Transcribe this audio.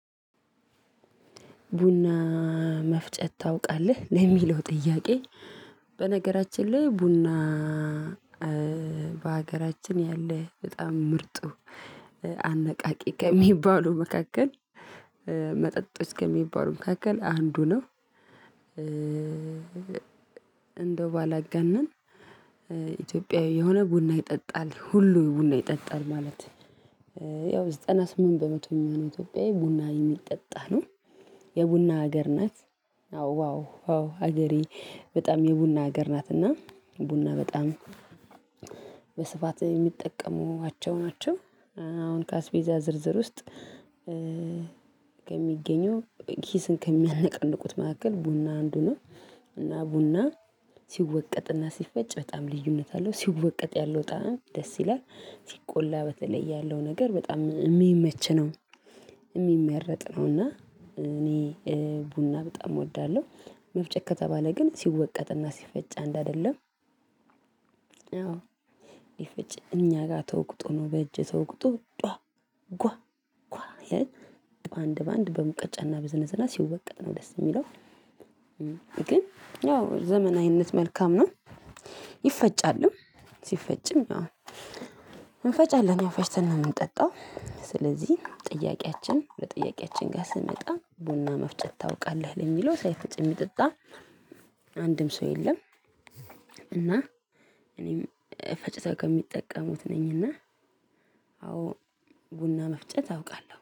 ቡና መፍጨት ታውቃለህ ለሚለው ጥያቄ በነገራችን ላይ ቡና በሀገራችን ያለ በጣም ምርጡ አነቃቂ ከሚባሉ መካከል መጠጦች ከሚባሉ መካከል አንዱ ነው። እንደው ባላገነን ኢትዮጵያዊ የሆነ ቡና ይጠጣል ሁሉ ቡና ይጠጣል ማለት። ያው ዘጠና ስምንት በመቶ የሚሆን ኢትዮጵያዊ ቡና የሚጠጣ ነው። የቡና ሀገር ናት። አዎ ዋው ሀገሬ በጣም የቡና ሀገር ናት እና። ቡና በጣም በስፋት የሚጠቀሙባቸው ናቸው። አሁን ከአስቤዛ ዝርዝር ውስጥ ከሚገኘው ኪስን ከሚያነቃንቁት መካከል ቡና አንዱ ነው። እና ቡና ሲወቀጥና ሲፈጭ በጣም ልዩነት አለው ሲወቀጥ ያለው ጣዕም ደስ ይላል። ሲቆላ በተለይ ያለው ነገር በጣም ሚመች ነው። የሚመረጥ ነው። እና እኔ ቡና በጣም እወዳለሁ። መፍጨት ከተባለ ግን ሲወቀጥና ሲፈጭ አንድ አደለም። አዎ ይፍጭ እኛ ጋር ተውቅጦ ነው በእጅ ተውቅጦ ጧ። ጓ ጓ አንድ በአንድ በሙቀጫና በዝነዝና ሲወቀጥ ነው ደስ ሚለው። ግን ያው ዘመናዊነት መልካም ነው። ይፈጫልም ሲፈጭም አዎ እንፈጫለን ያውፈጭተን ነው። ምንጠጣው ስለዚህ ጥያቄያችን በጥያቄያችን ጋር ስንመጣ ቡና መፍጨት ታውቃለህ ለሚለው ሳይፈጭ የሚጠጣ አንድም ሰው የለም። እና እኔም ፈጭተው ከሚጠቀሙት ነኝና። አዎ ቡና መፍጨት አውቃለሁ